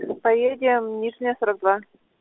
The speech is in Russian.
поедем нижняя сорок два